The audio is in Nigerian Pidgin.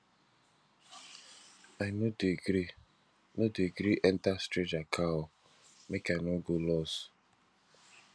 i no dey gree no dey gree enta strager car o make i no go loss